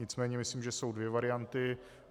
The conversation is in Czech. Nicméně myslím, že jsou dvě varianty.